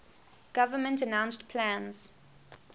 government announced plans